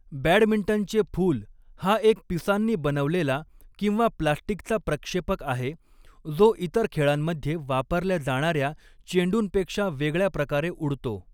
बॅडमिंटनचे फूल हा एक पिसांनी बनवलेला किंवा प्लास्टिकचा प्रक्षेपक आहे, जो इतर खेळांमध्ये वापरल्या जाणाऱ्या चेंडूंपेक्षा वेगळ्या प्रकारे उडतो.